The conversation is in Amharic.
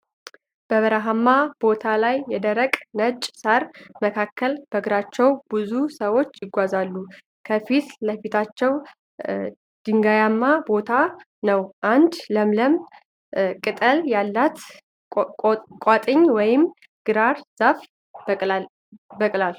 በረሀማ ቦታ ላይ የደረቀ ነጭ ሳር መካከል በእግራቸዉ ብዙ ሰዎች ይጓጓዛሉ። ከፊት ለፊታቸዉ ድንጋያማ ቦታ ነዉ። አንድ ለምለም ቅጠል ያላት ቋጥኝ ወይም ግራር ዛፍ በቅላል።